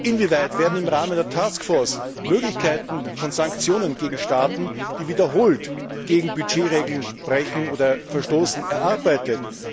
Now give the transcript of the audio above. Inwieweit werden im Rahmen der Taskforce Möglichkeiten von Sanktionen gegen Staaten, die wiederholt gegen Budgetregeln verstoßen, erarbeitet?